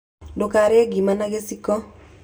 Ndũkarĩe ngima na gĩciko.